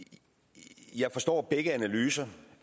jeg forstår begge analyser